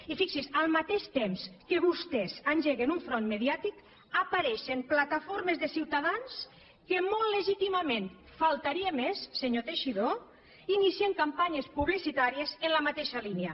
i fixi’s al mateix que vostès engeguen un front mediàtic apareixen plataformes de ciutadans que molt legítimament faltaria més senyor teixidó inicien campanyes publicitàries en la mateixa línia